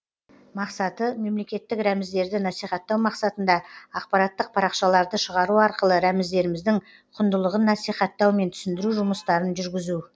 мақсаты мемлекеттік рәміздерді насихаттау мақсатында ақпараттық парақшаларды шығару арқылы рәміздеріміздің құндылығын насихаттау мен түсіндіру жұмыстарын жүргізу